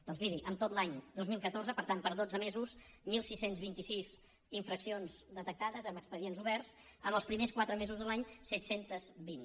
doncs miri en tot l’any dos mil catorze per tant per dotze mesos setze vint sis infraccions detectades amb expedients oberts en els primers quatre mesos de l’any set cents i vint